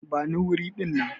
Bani wuri dinnan!